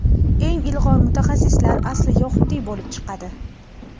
eng ilg‘or mutaxassislar asli yahudiy bo‘lib chiqadi.